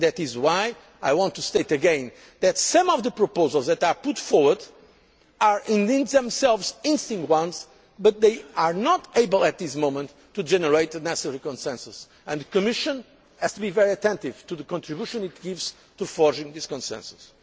That is why I want to state again that some of the proposals which were put forward are indeed themselves interesting ones, but they are not able at this moment to generate the necessary consensus, and the Commission has to be very attentive to the contribution it gives to forging this consensus.